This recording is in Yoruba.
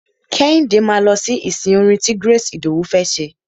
Kẹ́hìndé máa lọ sí ìsìn orin ti Grace Idowu fẹ́ ṣe.